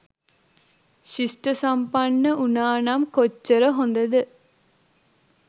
ශිෂ්ඨසම්පන්න උනානම් කොච්චර හොදද?